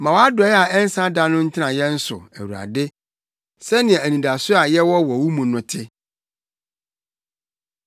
Ma wʼadɔe a ɛnsa da no ntena yɛn so, Awurade, sɛnea anidaso a yɛwɔ wɔ mu no te.